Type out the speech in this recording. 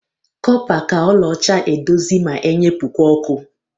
Kọpa ka ọla ọcha eduzi ma enyepụkwa ọkụ.